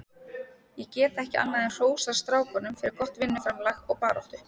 Ég get ekki annað en hrósað strákunum fyrir gott vinnuframlag og baráttu.